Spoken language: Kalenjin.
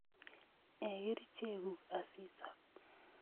Ee kerichek kuk asiisop